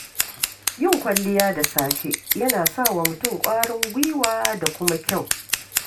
Yin kwalliya da safe yana sa wa mutum ƙwarin gwiwa da kuma kyau.